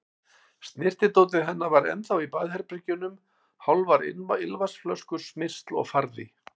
Snyrtidótið hennar var ennþá á baðherbergjunum, hálfar ilmvatnsflöskur, smyrsl og farði.